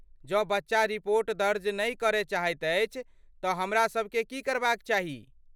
जँ बच्चा रिपोर्ट दर्ज नहि करय चाहैत अछि तँ हमरासबकेँ की करबाक चाही?